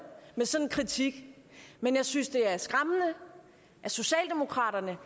med sådan en kritik men jeg synes det er skræmmende at socialdemokraterne